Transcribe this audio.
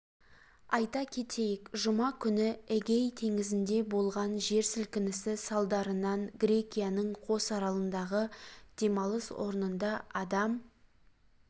айта кетейік жұма күні эгей теңізінде болған жер сілкінісі салдарынан грекияның кос аралындағы демалыс орнында адам